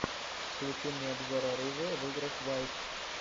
включи мне обзор оружия в играх вайт